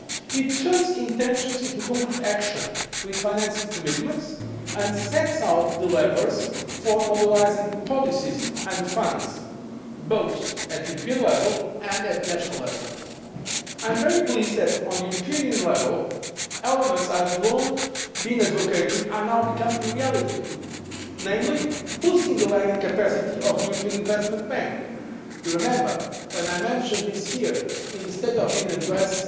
It turns intentions into concrete action with financing commitments, and sets out the levers for mobilising policies and funds both at European level and at national level. I am very pleased that elements I have long been advocating at EU level are now becoming reality, namely boosting the lending capacity of the European Investment Bank you will remember, when I mentioned this here in the State of the Union address